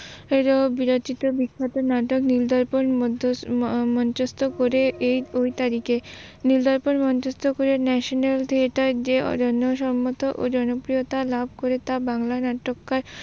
বিরোচিত বিখ্যাত নাটক নীলদয়কর মধ্যস্ত করে এই ঐ তারিখে নীলদয়কর মধ্যস্ত করে ন্যাশনাল থিয়েটার যে অরণ্য সম্মত ও জনপ্রিয়তা লাভ করে তা বাংলা নাট্যকার